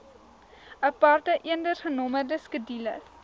aparte eendersgenommerde skedules